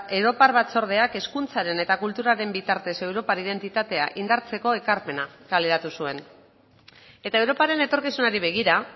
europar batzordeak hezkuntzaren eta kulturaren bitartez europar identitatea indartzeko ekarpena kaleratu zuen eta europaren etorkizunari begira